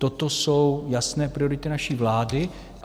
Toto jsou jasné priority naší vlády.